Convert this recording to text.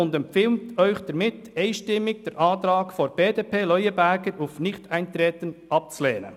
Sie empfiehlt Ihnen einstimmig, den Antrag Leuenberger, Trubschachen, BDP, auf Nichteintreten abzulehnen.